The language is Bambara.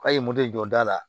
K'a ye moto jɔ da la